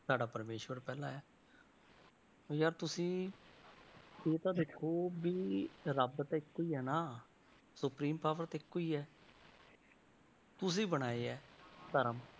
ਸਾਡਾ ਪ੍ਰਮੇਸ਼ਵਰ ਪਹਿਲਾਂ ਆਇਆ ਯਾਰ ਤੁਸੀਂ ਇਹ ਤਾਂ ਦੇਖੋ ਵੀ ਰੱਬ ਤਾਂ ਇੱਕੋ ਹੀ ਹੈ ਨਾ supreme power ਤਾਂ ਇੱਕੋ ਹੀ ਹੈ ਤੁਸੀਂ ਬਣਾਏ ਹੈ ਧਰਮ